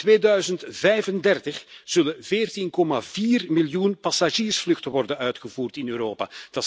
In 2035 zullen 14,4 miljoen passagiersvluchten worden uitgevoerd in Europa.